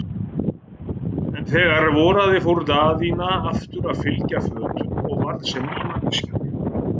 En þegar voraði fór Daðína aftur að fylgja fötum og varð sem ný manneskja.